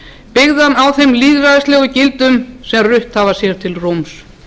byggðan á þeim lýðræðislegu gildum sem rutt hafa sér til rúms